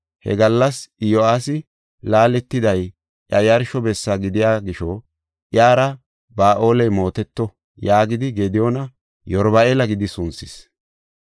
He gallas Iyo7aasi, “Laaletiday iya yarsho bessa gidiya gisho iyara Ba7aaley mooteto” yaagidi Gediyoona Yeruba7aala gidi sunthis.